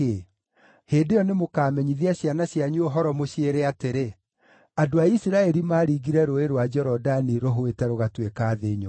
Hĩndĩ ĩyo nĩmũkamenyithia ciana cianyu ũhoro, mũmeere atĩrĩ, ‘Andũ a Isiraeli maaringire Rũũĩ rwa Jorodani rũhũĩte rũgatuĩka thĩ nyũmũ.’